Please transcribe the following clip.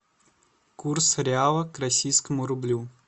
курс реала к российскому рублю